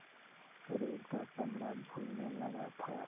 शरीर का चमड़ा झूलने लगा था